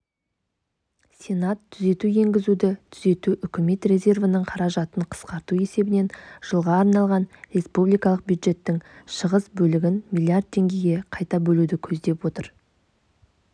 сенат түзету енгізді түзету үкімет резервінің қаражатын қысқарту есебінен жылға арналған республикалық бюджеттің шығыс бөлігін млрд теңгеге қайта бөлуді көздеп отыр